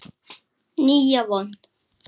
Nýja von.